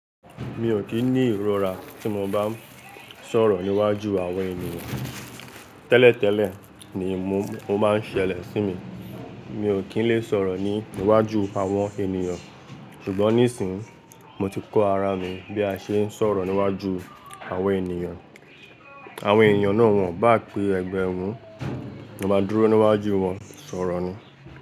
Mi ò kí ní ìrora tí mo bá ń sọ̀rọ̀ níwájú àwọn ènìyàn. Tẹ́lẹ̀ tẹ́lẹ̀ ni mo máa ń ṣẹlẹ̀ sí mi. Mi ò kí ń le sọ̀rọ̀ ní iwájú àwọn ènìyàn. Ṣùgbọ́n nísìínyi mo ti kọ ara mi bí a ṣe ń sọ̀rọ̀ níwájú àwọn ènìyàn. Àwọn ènìyàn náà wọ́n bá pé ẹgbẹ́ ẹ run, mo máa dúró níwájú wọn sọ̀rọ̀ ni.